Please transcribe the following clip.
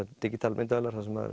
digital myndavélar þar sem